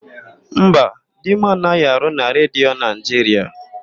Mba, di m anaghị arụ na Redio Naịjiria.